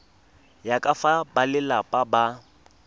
ya ka fa balelapa ba